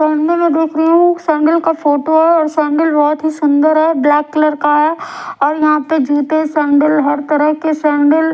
sandal देख रही हूं सैंडल का फोटो है और सैंडल बहुत ही सुंदर है ब्लैक कलर का है और यहां पे जूते सैंडल हर तरह के सैंडल --